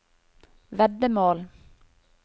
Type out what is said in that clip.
veddemål